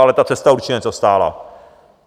Ale ta cesta určitě něco stála.